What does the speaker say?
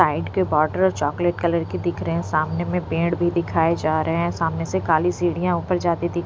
side के border chocolate colour की दिख रहे हैं सामने में पेड़ भी दिखाए जा रहे हैं सामने से काली सीढ़ियाँ ऊपर जाती दिख --